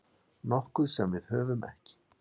Nokkuð sem við höfum ekki.